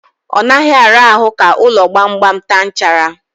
Ọ naghị ara ahụ ka ụlọ gbamgbam taa nchara.